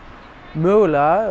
mögulega